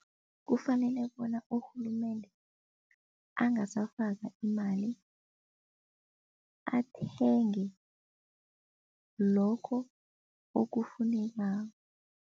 Kufanele bona urhulumende angasafaka imali, athenge lokho okufunekako.